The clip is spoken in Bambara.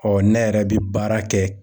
ne yɛrɛ bɛ baara kɛ.